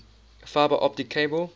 fiber optic cable